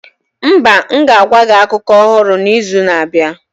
Mba, m ga-agwa gị akụkọ ọhụrụ n'izu na-abịa.